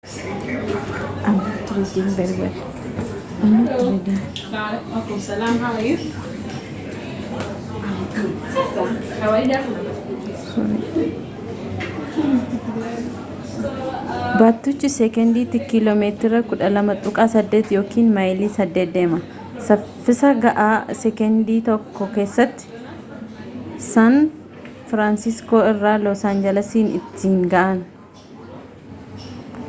baattuchi sekendiitti kiiloo meetira 12.8 yookiin maayilii 8 deema saffisa ga'aa sekendii tokko keessatti saan firaansiskoo irraa loos aanjalasiin ittiin ga'an